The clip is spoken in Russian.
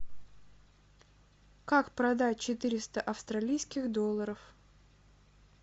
как продать четыреста австралийских долларов